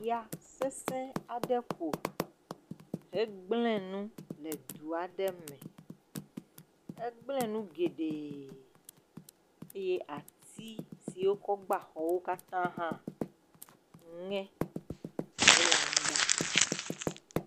Ya sese aɖe ƒo. Egble nu le du aɖe me. Egble nu geɖe eye atsi siwo kɔ gba xɔwo katã hã ŋe hele anyigba.